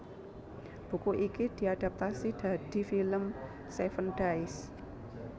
Buku iki diadaptasi dadi film Seven Days